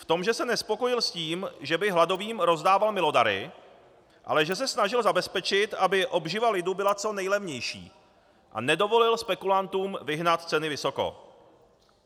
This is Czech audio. V tom, že se nespokojil s tím, že by hladovým rozdával milodary, ale že se snažil zabezpečit, aby obživa lidu bylo co nejlevnější, a nedovolil spekulantům vyhnat ceny vysoko.